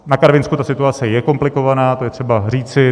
Na Karvinsku ta situace je komplikovaná, to je třeba říci.